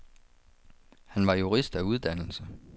Han var jurist af uddannelse.